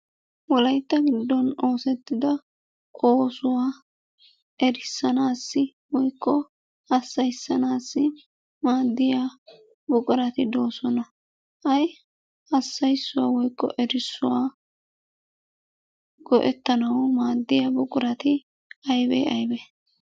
Wolaytta giddon oosettida oosuwa erissanaassi woykko hassayissanaassi maaddiya buqurati doosona. Ha'i hassayissuwa woykko erissuwa go'ettanawu maaddiya buqurati ayibe eyibe?